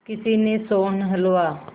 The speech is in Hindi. किसी ने सोहन हलवा